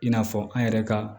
I n'a fɔ an yɛrɛ ka